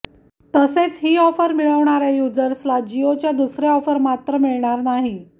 तसेच ही ऑफर मिळवणाऱ्या यूजर्सला जिओच्या दुसऱ्या ऑफर मात्र मिळणार नाही